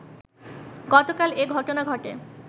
গতকাল এ ঘটনা ঘটে